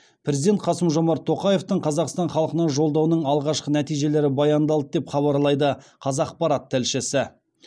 президент қасым жомарт тоқаевтың қазақстан халқына жолдауының алғашқы нәтижелері баяндалды деп хабарлайды қазақпарат тілшісі